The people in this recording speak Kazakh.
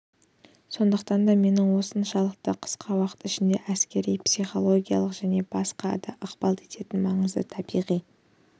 сондықтан да менің осыншалықты қысқа уақыт ішінде әскерлерге психологиялық және баскқа да ықпал ететін маңызды табиғи